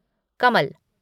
कमल